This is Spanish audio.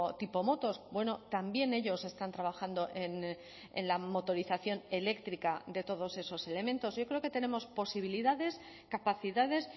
tipo motos bueno también ellos están trabajando en la motorización eléctrica de todos esos elementos yo creo que tenemos posibilidades capacidades